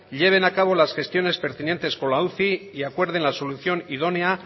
lleven a cabo las gestiones pertinentes con la uci y acuerden la solución idónea